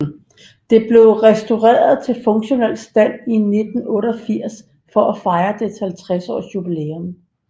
Det blev restaureret til funktionel stand i 1988 for at fejre dets 50 års jubilæum